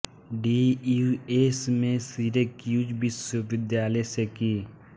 D U S में Syracuse विश्वविद्यालय से की